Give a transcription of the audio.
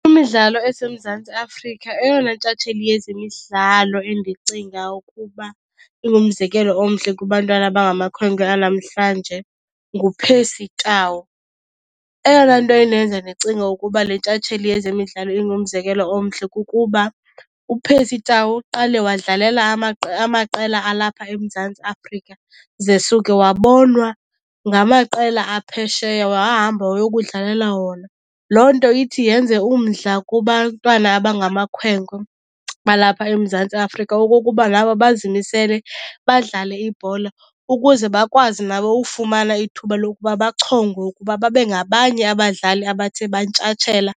Kwimidlalo eseMzantsi Afrika eyona ntshatsheli yezemidlalo endicinga ukuba ingumzekelo omhle kubantwana abangamakhwenkwe anamhlanje nguPercy Tau. Eyona nto indenza ndicinge ukuba le ntshatsheli yezemidlalo ingumzekelo omhle kukuba uPercy Tau uqale wadlalela amaqela alapha eMzantsi Afrika ze suke wabonwa ngamaqela aphesheya, wahamba wayokudlalela wona. Loo nto ithi yenze umdla kubantwana abangamakhwenkwe balapha eMzantsi Afrika okokuba nabo bazimisele badlale ibhola ukuze bakwazi nabo ufumana ithuba lokuba bachongwe ukuba babe ngabanye abadlali abathe bantshatshela